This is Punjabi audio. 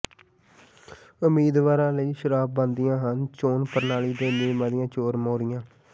ਉਮੀਦਵਾਰਾਂ ਲਈ ਸਰਾਪ ਬਣਦੀਆਂ ਹਨ ਚੋਣ ਪ੍ਰਣਾਲੀ ਦੇ ਨਿਯਮਾਂ ਦੀਆਂ ਚੋਰ ਮੋਰੀਆਂ